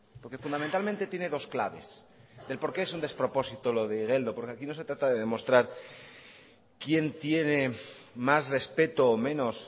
porque fundamentalmente tiene dos claves de el por qué es un despropósito lo de igeldo porque aquí no se trata de demostrar quién tiene más respeto o menos